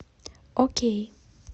окей